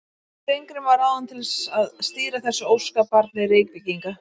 Steingrímur var ráðinn til að stýra þessu óskabarni Reykvíkinga.